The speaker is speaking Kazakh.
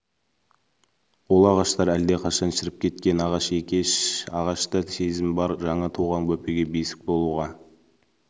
ол ағаштар алдақашан шіріп кеткен ағаш екеш ағашта да сезім бар жаңа туған бөпеге бесік болуға